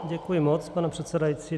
Děkuji moc, pane předsedající.